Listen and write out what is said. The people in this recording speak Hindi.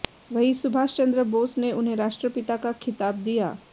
वहीं सुभाष चन्द्र बोस ने उन्हें राष्ट्रपिता का खिताब दिया